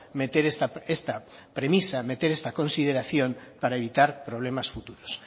meter esta premisa meter esta consideración para evitar problemas futuros